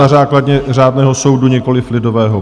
Na základě řádného soudu, nikoli lidového.